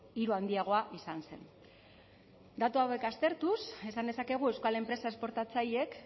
hiru handiagoa izan zen datu hauek aztertuz esan dezakegu euskal enpresa esportatzaileek